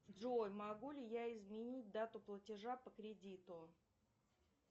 джой могу ли я изменить дату платежа по кредиту